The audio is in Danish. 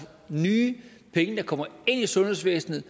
nye penge der kommer ind i sundhedsvæsenet